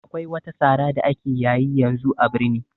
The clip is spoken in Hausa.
Akwai wata sara da ake yayi yanzu a birni